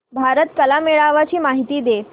भारत कला मेळावा ची माहिती दे